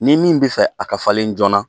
Ni min bɛ fɛ a ka falen joona